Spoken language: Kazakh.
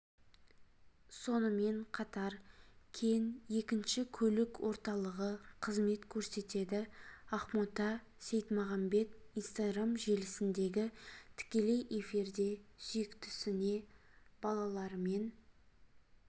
сонымен қатар кен екінші көлік орталығы қызмет көрсетеді ақбота сейтмағамбет инстаграм желісіндегі тікелей эфирде сүйіктісіне балаларымен